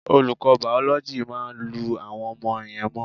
Olùkọ́ Bàòlójì, "má lu àwọn ọmọ yẹn mọ́"